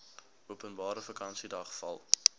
openbare vakansiedag val